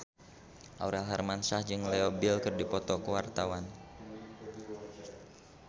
Aurel Hermansyah jeung Leo Bill keur dipoto ku wartawan